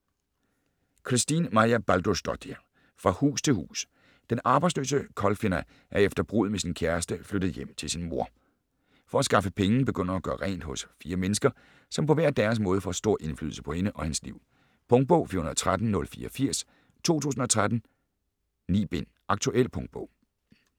Kristín Marja Baldursdóttir: Fra hus til hus Den arbejdsløse Kolfinna er efter bruddet med sin kæreste flyttet hjem til sin mor. For at skaffe penge begynder hun at gøre rent hos fire mennesker, som på hver deres måde får stor indflydelse på hende og hendes liv. Punktbog 413084 2013.9 bind. Aktuel punktbog